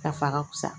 K'a fɔ a ka kusa